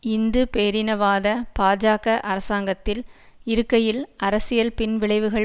இந்து பேரினவாத பாஜக அரசாங்கத்தில் இருக்கையில் அரசியல் பின்விளைவுகள்